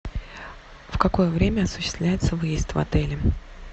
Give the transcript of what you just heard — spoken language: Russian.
в какое время осуществляется выезд в отеле